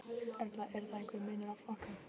Erla: Er þá einhver munur á flokkum?